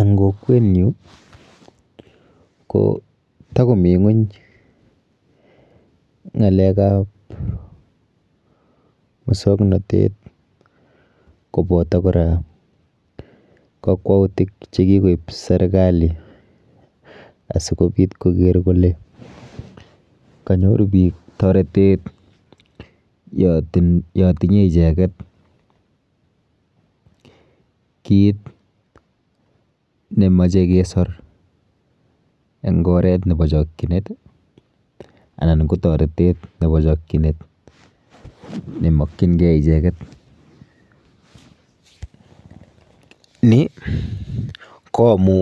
Eng kokwenyu ko tikomi ng'weny ng'alek ap musongnotet kopoto kora kakwautik chekikoip serikali asikopit koker kole kanyor biik toretet yo tinyei icheket kiit nemachei kesor eng oret nebo chokchinet anan ko toretet nebo chokchinet nemakchingei icheket ni ko amu